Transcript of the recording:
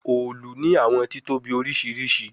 Òòlù ni awọn titobi oriṣiriṣi